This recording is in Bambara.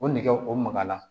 O nɛgɛ o magala